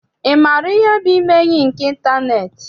Ị maara ihe bụ ime enyi nke ịntaneetị?